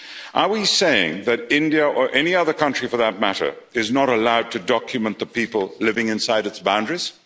CAA. Are we saying that India, or any other country for that matter, is not allowed to document the people living inside its boundaries?